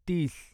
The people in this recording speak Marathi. तीस